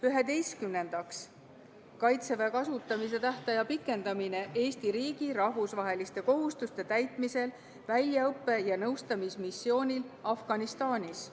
Üheteistkümnendaks, Kaitseväe kasutamise tähtaja pikendamine Eesti riigi rahvusvaheliste kohustuste täitmisel väljaõppe- ja nõustamismissioonil Afganistanis.